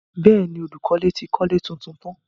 Bẹ́ẹ̀ni, olùkọ́ ti kọ́lé tuntun tán.